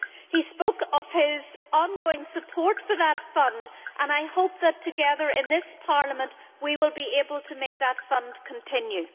He spoke of his ongoing support for that Fund and I hope that together, in this Parliament, we will be able to make that Fund continue.